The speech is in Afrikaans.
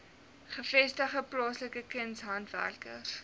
gevestigde plaaslike kunshandwerkers